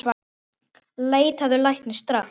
Leitaðu læknis, strax!